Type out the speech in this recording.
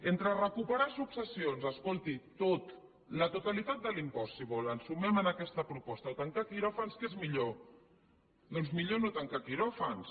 entre recuperar successions escolti tot la totalitat de l’impost si vol ens sumem a aquesta proposta o tancar quiròfans què és millor doncs millor no tancar quiròfans